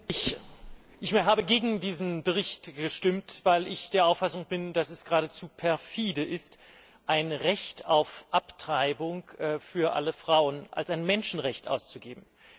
Frau Präsidentin! Ich habe gegen diesen Bericht gestimmt, weil ich der Auffassung bin, dass es geradezu perfide ist, ein Recht auf Abtreibung für alle Frauen als ein Menschenrecht auszugeben.